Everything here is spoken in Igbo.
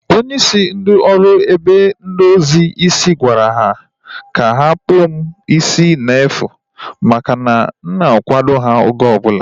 Onye isi ndị oru ebe ndozi isi gwara ha ka ha kpụọ m isi n'efu maka na a na m akwado ha oge ọbụla